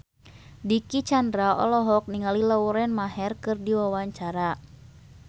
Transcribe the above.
Dicky Chandra olohok ningali Lauren Maher keur diwawancara